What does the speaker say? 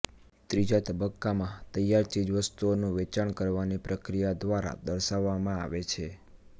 ત્રીજા તબક્કામાં તૈયાર ચીજવસ્તુઓનું વેચાણ કરવાની પ્રક્રિયા દ્વારા દર્શાવવામાં આવે છે